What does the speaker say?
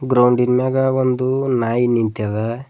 ಗ್ರೌಂಡಿನ್ ಮ್ಯಾಗ ಒಂದು ನಾಯಿ ನಿಂತದ.